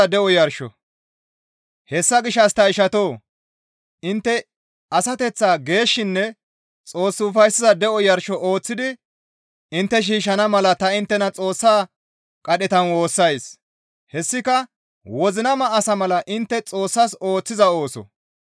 Hessa gishshas ta ishatoo! Intte asateththaa geeshshinne Xoos ufayssiza de7o yarsho ooththidi intte shiishshana mala ta inttena Xoossa qadhetan woossays; hessika wozinama asa mala intte Xoossas ooththiza ooso.